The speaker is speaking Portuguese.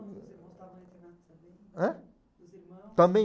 Os irmãos, os irmãos estavam no internato também? Ãh? Os irmãos... Também.